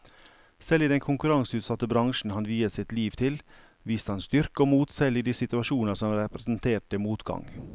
Selv i den konkurranseutsatte bransjen han viet sitt liv til, viste han styrke og mot selv i de situasjoner som representerte motgang.